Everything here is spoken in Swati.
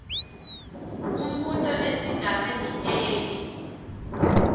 umbuto esigabeni a